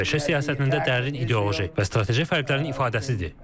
ABŞ siyasətində dərin ideoloji və strateji fərqlərin ifadəsidir.